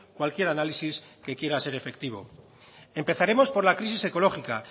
cualquier análisis que quiera ser efectivo empezaremos por la crisis ecológica